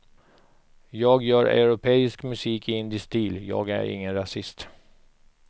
Jag gör europeisk musik i indisk stil, jag är ingen rasist.